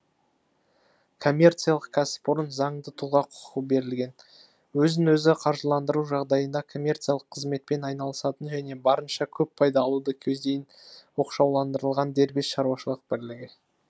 коммерциялық кәсіпорын заңды тұлға құқығы берілген өзін өзі қаржыландыру жағдайында коммерциялық қызметпен айналысатын және барынша көп пайда алуды көздейтін оқшауландырылған дербес шаруашылық бірлігі